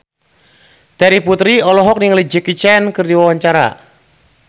Terry Putri olohok ningali Jackie Chan keur diwawancara